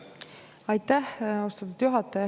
Aitäh!